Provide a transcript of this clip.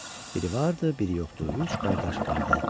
Biri vardı, biri yoxdu, üç qardaş vardı.